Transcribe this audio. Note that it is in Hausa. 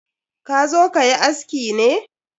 Ka zo kayi aski ne?